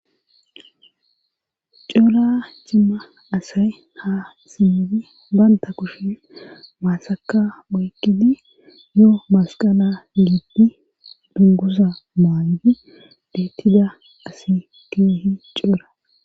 coora cimma asay ha simmidi banta kushi maasaka moykidi yoo masqala yiigdi dungusa maangi deettida asi keehi coora